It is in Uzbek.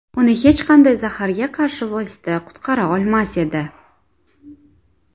Uni hech qanday zaharga qarshi vosita qutqara olmas edi.